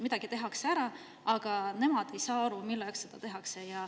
Midagi tehakse ära, aga nemad ei saa aru, milleks seda tehakse.